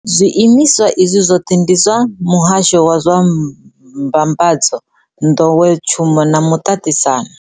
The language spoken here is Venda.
Zwiimiswa izwi zwoṱhe ndi zwa Muhasho wa zwa Mbambadzo, Nḓowetshumo na Muṱaṱisano.